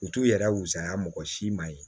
U t'u yɛrɛ wusaya mɔgɔ si ma ye